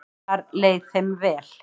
Þar leið þeim vel.